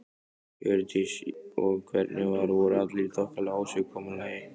Hjördís: Og hvernig var, voru allir í þokkalegu ásigkomulagi?